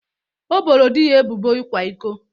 O boro di ya ebubo ịkwa iko